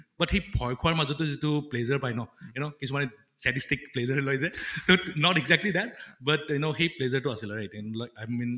but হেই ভয় খোৱাৰ মাজতে যিটো pleasure পায় ন you know কিছুমানে pleasure লয় যে not exactly that but you know সেই pleasure টো আছিলে right